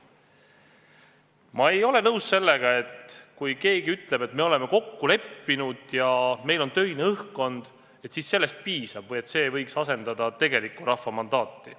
Ma ei ole nõus sellega, kui keegi ütleb, et me oleme kokku leppinud ja meil on töine õhkkond ja sellest piisab või et see asendab tegelikku rahva mandaati.